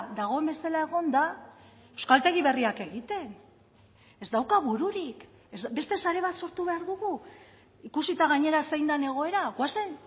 dagoen bezala egonda euskaltegi berriak egiten ez dauka bururik beste sare bat sortu behar dugu ikusita gainera zein den egoera goazen